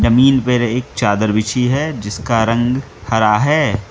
Mean पर एक चादर बिछी है जिसका रंग हरा है।